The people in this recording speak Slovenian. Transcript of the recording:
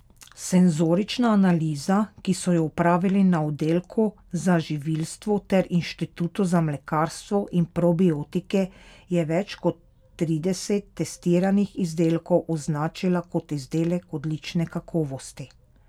Senzorična analiza, ki so jo opravili na oddelku za živilstvo ter Inštitutu za mlekarstvo in probiotike, je več kot trideset testiranih izdelkov označila kot izdelek odlične kakovosti.